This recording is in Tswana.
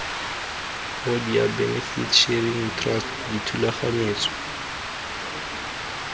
hoodia benefit sharing trust dithulaganyetso